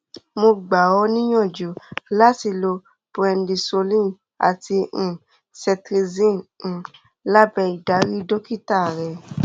mo gba ọ níyànjú láti lo prednisolone àti um cetirizine um lábẹ ìdarí dókítà rẹ